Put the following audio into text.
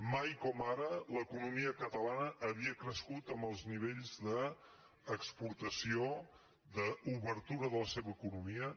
mai com ara l’economia catalana havia crescut amb els nivells d’exportació d’obertura de la seva economia